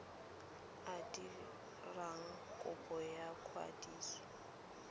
a dirang kopo ya kwadiso